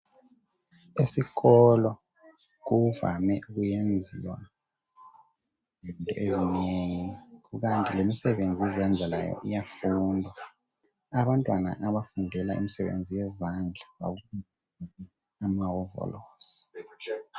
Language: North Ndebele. Esikolo kuvame ukwenziwa izinto ezinengi kukanti lemisebenzi yezandla layo iyafundwa. Abantwana abafundela umsebenzi yezandla eyamahovilosi.